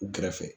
U kɛrɛfɛ